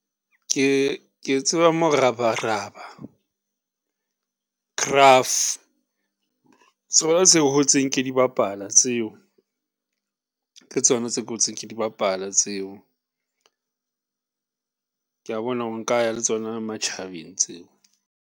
Ke tseba Morabaraba, Graph, tsona tse hotseng ke di bapala tseo, ke tsona tse ke hotseng ke di bapala tseo. Kea bona hore nka ya le tsona matjhabeng tseo.